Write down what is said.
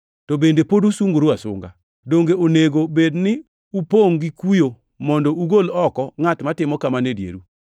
To bende pod usungoru asunga! Donge onego bed ni upongʼ gi kuyo mondo ugol oko ngʼat matimo kamano e dieru?